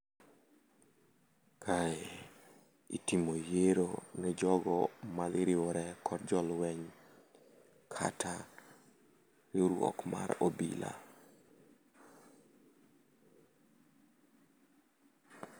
Kae itimo yiero ne jogo ma dhi riwore kod jo lweny, kata riwruok mar obila.